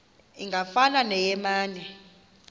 ingafana neye mane